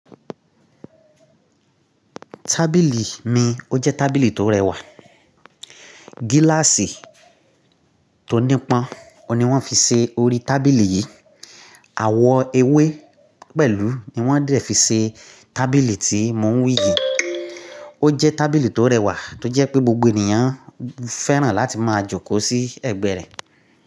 Tábìlì mi ó jẹ́ tábìlì tó rẹwà. Gíláàsì tó nípọn ouni wọ́n fi ṣe orí tábìlì yìí. Àwọ̀ ewé pẹ̀lú ni wọ́n dẹ̀ fi ṣe tábìlì tí mò ń wí yìí. Ó jẹ́ tábìlì tó rẹwà tó jẹ́ pé gbogbo ènìyàn fẹ́ràn láti máa jókòó sí ẹ̀gbẹ́ rẹ̀.